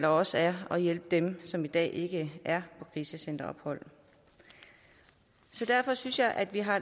også er at hjælpe dem som i dag ikke er på krisecenterophold derfor synes jeg at vi har